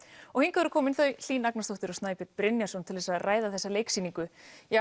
og hingað eru komin Hlín Agnarsdóttir og Snæbjörn Brynjarsson til þess að ræða þessa leiksýningu